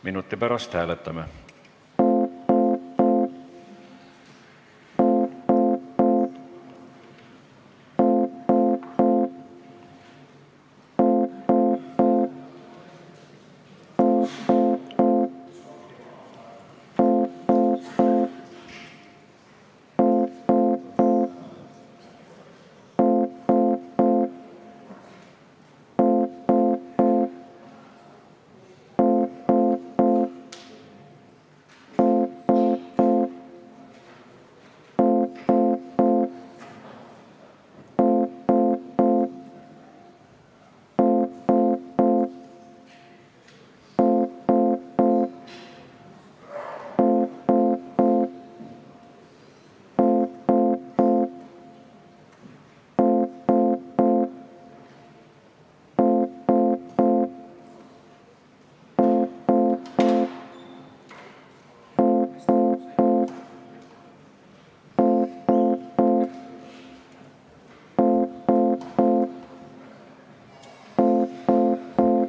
Minuti pärast hääletame.